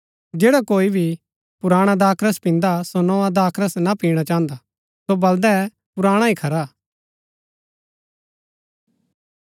जैड़ा कोई भी पुराणा दाखरस पिन्दा सो नोआ दाखरस ना पिणा चाहन्दा सो बलदै पुराणा ही खरा हा